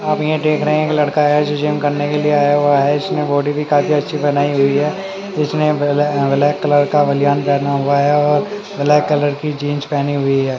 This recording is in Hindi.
आप यहां देख रहे है एक आया लड़का है जो जिम करने के लिए आया हुआ है इसने बॉडी भी काफी अच्छी बनाई हुई है उसने ब्लै अं ब्लैक कलर का बलियान पहना हुआ है और ब्लैक कलर की जींस पहनी हुई है।